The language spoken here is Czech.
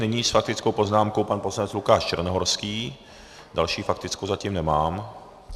Nyní s faktickou poznámkou pan poslanec Lukáš Černohorský, další faktickou zatím nemám.